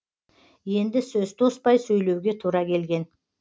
енді сөз тоспай сөйлеуге тура келген